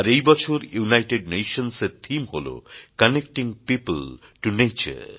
আর এই বছর United Nations এর থিম হল কানেক্টিং পিওপল টোনেচার